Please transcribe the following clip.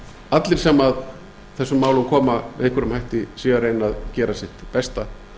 allir sem að þessum málum koma með einhverjum hætti séu að reyna að gera sitt besta